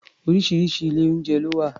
Oríṣiríṣi ilé-oúnjẹ ló wà